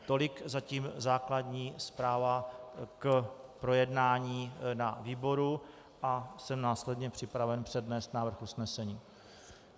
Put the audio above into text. Tolik zatím základní zpráva k projednání na výboru a jsem následně připraven přednést návrh usnesení.